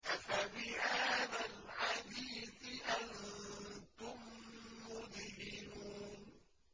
أَفَبِهَٰذَا الْحَدِيثِ أَنتُم مُّدْهِنُونَ